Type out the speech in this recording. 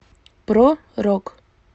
про рок